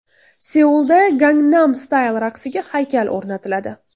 Seulda Gangnam Style raqsiga haykal o‘rnatiladi .